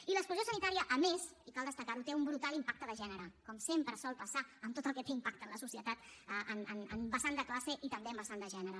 i l’exclusió sanitària a més i cal destacar ho té un brutal impacte de gènere com sempre sol passar amb tot el que té impacte en la societat en vessant de classe i també en vessant de gènere